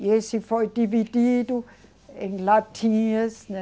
E esse foi dividido em latinhas, né?